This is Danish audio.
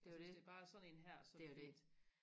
altså hvis det bare er sådan en her så er det fint